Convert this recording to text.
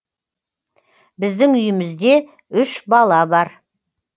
біздің үйімізде үш бала бар